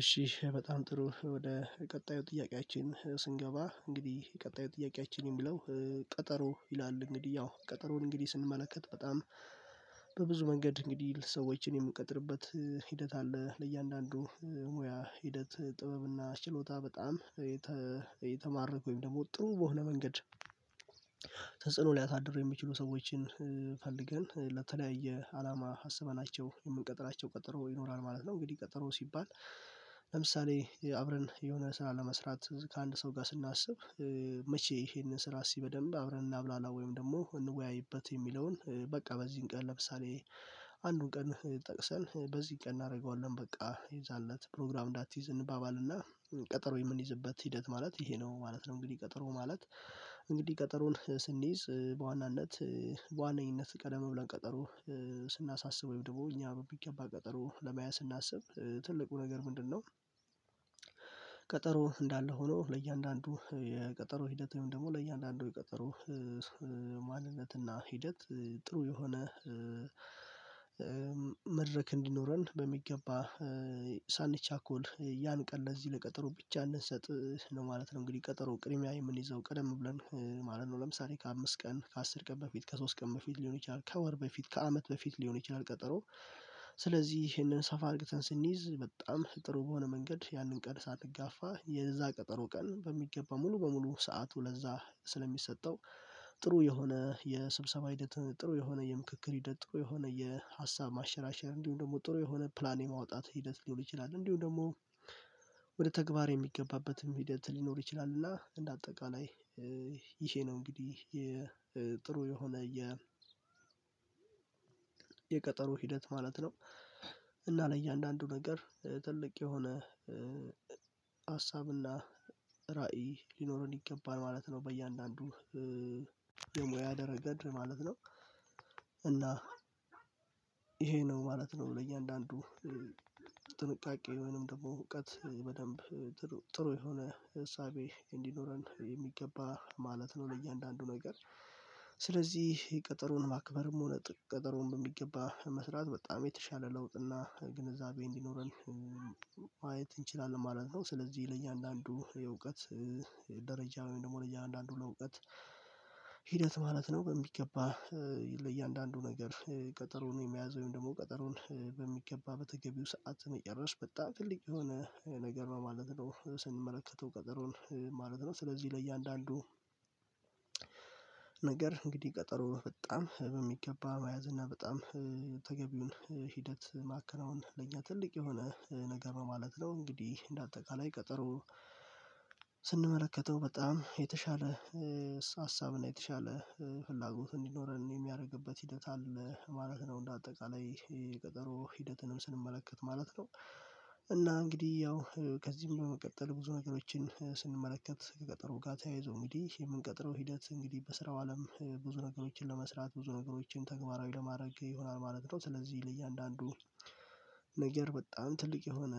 እሺ በጣም ጥሩ ወደ ቀጣዩ ጥያቄያችን ስንገባ እንግዲህ ቀጣይ ጥያቄያችንን የሚለው ቀጠሮ ይላል እንግዲህ ያው ቀጠሮን እንግዲህ ስንመለከት በጣም በብዙ መንገድ እንግዲህ ሰዎችን የምንቀጥርበት ሂደት አለ ለእያንዳንዱ ሙያ ሂደት ጥበብና ችሎታ በጣም የተማረኩኝ ወይም ደግሞ ጥሩ በሆነ መንገድ ተጽዕኖ ሊያሳድር የሚችሉ ሰዎችን ፈልገን ለተለያየ አላማ አስበናቸው የምንቀጥራቸው ቀጠሮ ይኖራል ማለት ነው። እንግዲህ ቀጠሮ ሲባል ለምሳሌ አብረን የሆነ ስራ ለመስራት ከአንድ ሰው ጋር ስናስብ መቼ ይሄንን ስራ በደምብ አብረን እናብላላ ወይም ደግሞ እንወያይበት የሚለውን በቃ በዚህን ቀን ለምሳሌ አንዱን ቀን ጠቅሰን በዚህ ቀን እናደርገዋለን በቃ የዛን ለት ፕሮግራም እንዳትይዝ እንባባልና ቀጠሮዬ ምንይዝበት ሂደት ማለት ይሄ ነው ማለት ነው። እንግዲህ ቀጠሮ ማለት እንግዲህ ቀጠሮን ስንይዝ በዋናነት በዋናነት ቀደም ብለን ቀጠሮ ስናሳስበው ወይም ደግሞ እኛ በሚገባ ቀጠሮ ለማያዝ ስናስብ ትልቁ ነገር ምንድነው? ቀጠሮ እንዳለ ሆኖ ለእያንዳንዱ የቀጠሮ ሂደት ወይም ደግሞ ለእያንዳንዱ የቀጠሮ ማንነት ና ሂደት ጥሩ የሆነ መድረክ እንዲኖረን በሚገባ ሳንቻኮል ያን ቀን ለዚህ ለቀጠሮ ብቻ እንድንሰጥ ነው ማለት ነው። እንግዲህ ቀጠሮ ቅድምያ የምንይዘው ቀደም ብለን ማለት ነው ለምሳሌ ከአምስት ቀን ከአስር ቀን በፊት ከሶስት ቀን በፊት ሊሆን ይችላል ከወር በፊት ከአመት በፊት ሊሆን ይችላል። ቀጠሮ ስለዚህ ይህንን ሰፋ አድርገን ስንይዝ በጣም ጥሩ በሆነ መንገድ ያንን ቀን ሳንጋፋ የዛ ቀጠሮ ቀን በሚገባ ሙሉ በሙሉ ሰዓቱ ለዛ ስለሚሰጠው ጥሩ የሆነ የስብሰባ ሂደት ጥሩ የሆነ የምክክር ሂደት ጥሩ የሆነ የሀሳብ ማንሸራሸር እንዲሁም ደግሞ ጥሩ የሆነ ፕላን የማውጣት ሂደት ሊኖር ይችላል እንዲሁም ደግሞ ወደ ተግባር የሚገባበትም ሂደት ሊኖር ይችላል እና እንደ አጠቃላይ ይሄ ነው እንግዲህ የጥሩ የሆነ የ የቀጠሮ ሂደት ማለት ነው። እና ለእያንዳንዱ ነገር ትልቅ የሆነ ሀሳብ እና ራዕይ ሊኖረን ይገባል ማለት ነው። በእያንዳንዱ ደሞ ያደረገድ ማለት ነው እና ይሄ ነው ማለት ነው ለእያንዳንዱ ጥንቃቄ ወይንም ደግሞ እውቀት በደንብ ጥሩ ጥሩ የሆነ እሳቤ እንዲኖረን በሚገባ ማለት ነው። ለእያንዳንዱ ነገር ስለዚህ ቅጥሩን ማክበርም ሆነ ቀጠሮን በሚገባ መስራት በጣም የተሻለ ለውጥና ግንዛቤ እንዲኖረን ማየት እንችላለን ማለት ነው። ስለዚህ ለእያንዳንዱ የእውቀት ደረጃ ወይም ደግሞ ለእያንዳንዱ ለእውቀት ሂደት ማለት ነው። በሚገባ ለእያንዳንዱ ነገር ቀጠሮን የመያዝ ወይም ደግሞ ቀጠሮን በሚገባ በተገቢው ሰዓት መጨረስ በጣም ትልቅ የሆነ ነገር ማለት ነው። ስንመለከተው ቀጠሮን ማለት ነው ስለዚህ ለእያንዳንዱ ነገር እንግዲህ ቀጠሮ በጣም በሚገባ መያዝና በጣም ተገቢውን ሂደት ማከናወን ለኛ ትልቅ የሆነ ነገር ነው ማለት ነው። እንግዲህ በአጠቃላይ ቀጠሮ ስንመለከተው በጣም የተሻለ ሀሳብ እና የተሻለ ፍላጎት እንዲኖረን የሚያደርግበት ሂደት አለ ማለት ነው። እንደ አጠቃላይ ቀጠሮ ሂደትንም ስንመለከት ማለት ነው እና እንግዲህ ያው ከዚህም በመቀጠል ብዙ ነገሮችን ስንመለከት ከቀጠሮ ጋር ተያይዞ እንግዲህ የምንቀጥረው ሂደት እንግዲህ በስራው አለም ብዙ ነገሮችን ለመስራት ብዙ ነገሮችን ተግባራዊ ለማድረግ ይሆናል ማለት ነው። ስለዚህ ለእያንዳንዱ ነገር በጣም ትልቅ የሆነ